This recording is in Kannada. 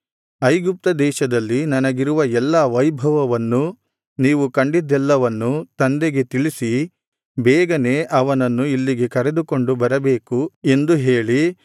ಐಗುಪ್ತ ದೇಶದಲ್ಲಿ ನನಗಿರುವ ಎಲ್ಲಾ ವೈಭವವನ್ನೂ ನೀವು ಕಂಡಿದ್ದೆಲ್ಲವನ್ನು ತಂದೆಗೆ ತಿಳಿಸಿ ಬೇಗನೆ ಅವನನ್ನು ಇಲ್ಲಿಗೆ ಕರೆದುಕೊಂಡು ಬರಬೇಕು ಎಂದು ಹೇಳಿ